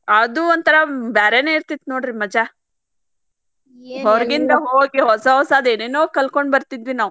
ಅದು ಒಂಥರಾ ಬ್ಯಾರೇನ ಇರ್ತಿತ್ತ್ ನೋಡ್ರಿ ಮಜಾ ಹೊರಗಿಂದ ಹೋಗಿ ಹೊಸ ಹೊಸಾದ ಏನೇನೋ ಕಲ್ಕೊಂಡ್ ಬರ್ತಿದ್ವಿ ನಾವ.